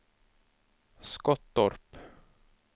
Skottorp